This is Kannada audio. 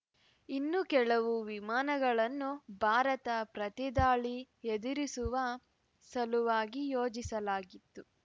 ಇನ್ನು ಕೆಲವು ವಿಮಾನಗಳನ್ನು ಭಾರತದ ಪ್ರತಿದಾಳಿ ಎದುರಿಸುವ ಸಲುವಾಗಿ ಯೋಜಿಸಲಾಗಿತ್ತು